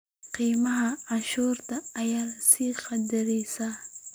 Khiyaamada cashuuraha ayaa sii kordhaysa.